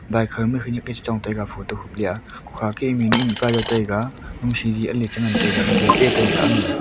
bike ha ma khaniak Chong le ngan taiga photo khuple a pia hu kha ke mihnu mihpa chu taiga siri ale chu ngan taiga gate eh taiga amia.